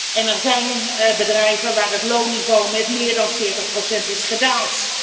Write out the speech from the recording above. En er zijn bedrijven waar het loonniveau met meer dan 40 procent is gedaald.